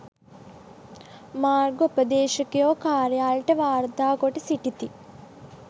මාර්ගෝපදේශකයෝ කාර්යාලයට වාර්තාකොට සිටිති